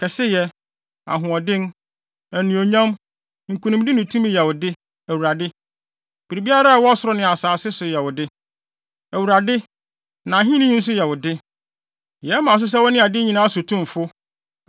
Kɛseyɛ, ahoɔden, anuonyam, nkonimdi ne tumi yɛ wo de, Awurade. Biribiara a ɛwɔ ɔsoro ne asase so yɛ wo de, Awurade, na ahenni yi nso yɛ wo de. Yɛma wo so sɛ wone ade nyinaa so tumfo.